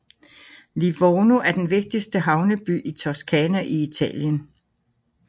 Livorno er den vigtigste havneby i Toscana i Italien